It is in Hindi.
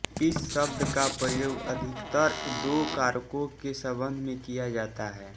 इस शब्द का प्रयोग अधिकतर दो कारकों के संबंध में किया जाता है